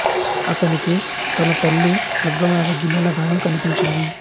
అతనికి తన తల్లి బుగ్గ మీద గిల్లిన గాయం కనిపించింది